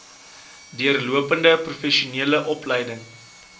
deurlopende professionele opleiding